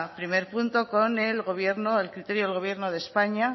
primer punto con el gobierno el criterio del gobierno de españa